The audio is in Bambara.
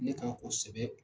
Ne kan o sɛbɛn